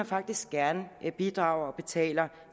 faktisk gerne selv bidrager og betaler